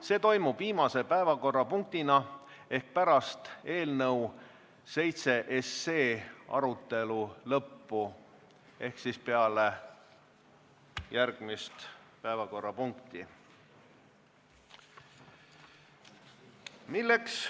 See toimub viimase päevakorrapunktina ehk pärast eelnõu 7 arutelu lõppu ehk siis peale järgmist päevakorrapunkti.